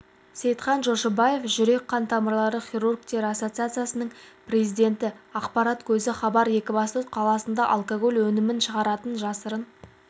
сейтхан жошыбаев жүрек-қан тамырлары хирургтері ассоциациясының президенті ақпарат көзі хабар екібастұз қаласында алкоголь өнімін шығаратын жасырын